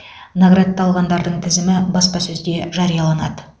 наградталғандардың тізімі баспасөзде жарияланады